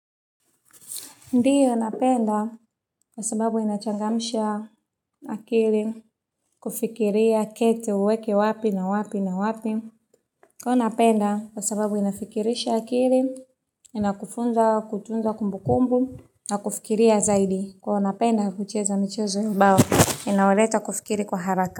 Ndiyo napenda kwa sababu inachangamsha akili kufikiria kete uweke wapi na wapi na wapi. Huwa napenda kwa sababu inafikirisha akili, inakufunza kutunza kumbukumbu na kufikiria zaidi. Huwa napenda kucheza michezo ubao, inauleta kufikiri kwa haraka.